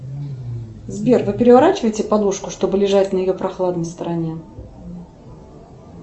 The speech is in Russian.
сбер вы переворачиваете подушку чтобы лежать на ее прохладной стороне